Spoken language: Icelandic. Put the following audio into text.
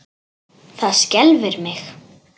Það skelfir mig.